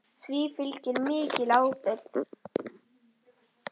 Því fylgir mikil ábyrgð.